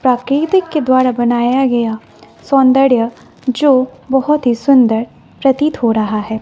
प्रकृति के द्वारा बनाया गया सौंदर्य जो बहोत ही सुंदर प्रतीत हो रहा है।